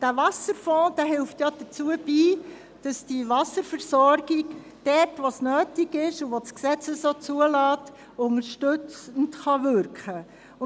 Der Wasserfonds trägt dazu bei, dass die Wasserversorgung dort, wo es nötig und vom Gesetz zugelassen ist, unterstützend wirken kann.